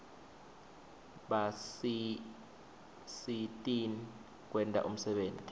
basisitn kwenta umsebenti